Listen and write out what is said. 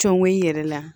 Cɔngɔn i yɛrɛ la